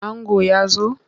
Ango ya zo?